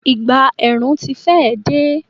Ìgbà ẹ̀rùn ti fẹ́ è dé.